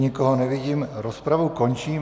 Nikoho nevidím, rozpravu končím.